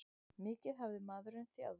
Mikið hafði maðurinn þjáðst.